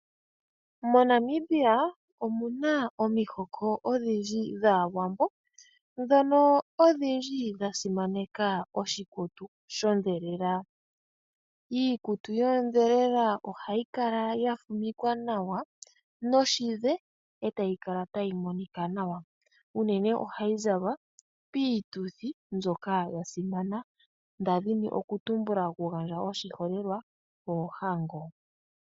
MoNamibia omuna omihoko odhindji dhaawambo dhono odhindji dhasimaneka oshikutu sho dhelela. Iikutu yoodhelela ohayi kala yafumikwa nawa noshidhe e tayi kala tayi monika nawa uunene ohayi zalwa piituthi mbyoka yasimana, ndadhini okutumbula okugandja oshiholelwa, oohango.